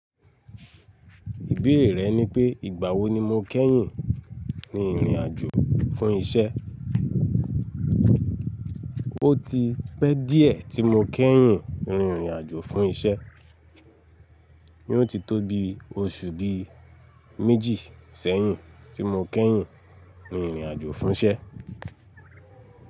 Ìbéèrè rẹ ni pé ìgbà wo ni mo kẹ́yìn rin ìrìn àjò fún isẹ́? O ti pẹ́ díẹ̀ tí mo kẹ́yìn rin ìrìn àjò fún isẹ́. Yóò ti tó bi oṣù bíi méjì sẹ́yìn tí mo kẹ́yìn rin ìrìn àjò fún isẹ́